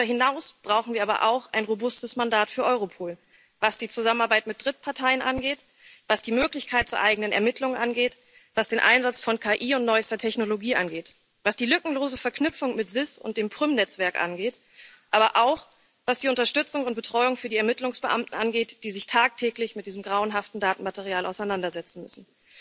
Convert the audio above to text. Darüber hinaus brauchen wir aber auch ein robustes Mandat für Europol, was die Zusammenarbeit mit Drittparteien angeht, was die Möglichkeit zu eigenen Ermittlungen angeht, was den Einsatz von KI und neuester Technologie angeht, was die lückenlose Verknüpfung mit SIS und dem Prüm Netzwerk angeht, aber auch was die Unterstützung und Betreuung für die Ermittlungsbeamten angeht, die sich tagtäglich mit diesem grauenhaften Datenmaterial auseinandersetzen müssen.